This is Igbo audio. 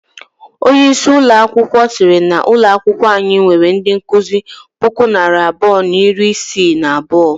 Onye isi ụlọ akwụkwọ siri na ụlọ akwụkwọ anyị nwere ndị nkụzi puku na narị abụọ na iri isii na abuo.